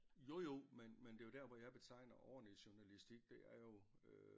Jo jo men men det er jo dér hvor jeg betegner ordentlig journalistik det er jo øh